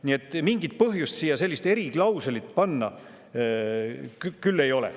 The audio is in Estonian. Nii et ei ole mingit põhjust siia sellist eriklauslit panna.